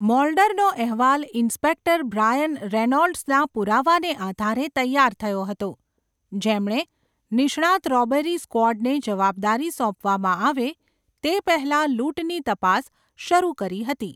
મોલ્ડરનો અહેવાલ inspector Brian રેનોલ્ડ્સના પુરાવાને આધારે તૈયાર થયો હતો, જેમણે નિષ્ણાત રોબરી સ્ક્વોડને જવાબદારી સોંપવામાં આવે તે પહેલાં લૂંટની તપાસ શરૂ કરી હતી.